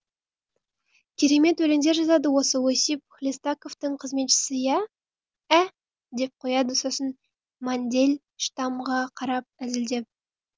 керемет өлеңдер жазады осы осип хлестаковтың қызметшісі ә деп қояды сосын мандельштамға қарап әзілдеп